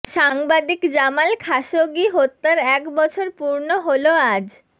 সাংবাদিক Jamal Khashoggi হত্যার এক বছর পূর্ণ হলো আজ